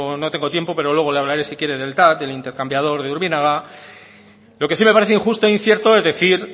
bueno no tengo tiempo pero luego le hablaré si quiere del tav del intercambiador de urbinaga lo que sí me pareció injusto e incierto es decir